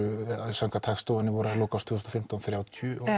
samkvæmt Hagstofunni voru þær í lok tvö þúsund og fimmtán þrjátíu og